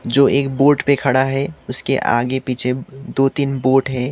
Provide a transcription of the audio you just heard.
जो एक बोट पे खड़ा है उसके आगे पीछे दो तीन बोट है।